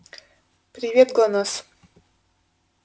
привет глонассс